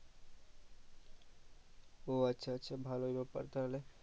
ও আচ্ছা আচ্ছা ভালোই ব্যাপার তাহলে